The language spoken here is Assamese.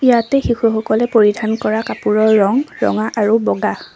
ইয়াতে শিশুসকলে পৰিধান কৰা কাপোৰৰ ৰঙ ৰঙা আৰু বগা।